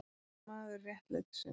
Þú ert maður réttlætisins.